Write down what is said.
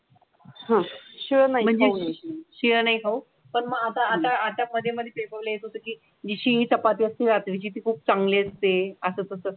आह शिरोळ नाही खाऊ पण मग आता आता मध्ये मध्ये बोलले तुम्ही शिळी चपाती वस्ती जातो जिथे खूप चांगली असते असं